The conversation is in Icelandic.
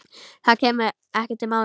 Það kæmi ekki til mála.